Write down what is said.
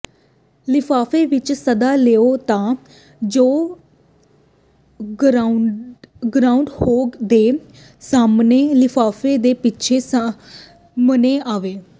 ਲਿਫਾਫੇ ਵਿੱਚ ਸੱਦਾ ਲਗਾਓ ਤਾਂ ਜੋ ਗਰਾਊਂਡਹੋਗ ਦੇ ਸਾਹਮਣੇ ਲਿਫਾਫੇ ਦੇ ਪਿੱਛੇ ਸਾਹਮਣੇ ਆਵੇ